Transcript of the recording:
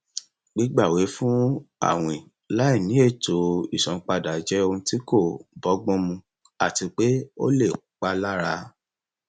gbígbawẹfún àwìn láìní ètò ìsanpadà jẹ ohun tí kò bọgbọn mu àti pé ó lè palára